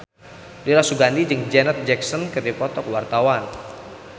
Dira Sugandi jeung Janet Jackson keur dipoto ku wartawan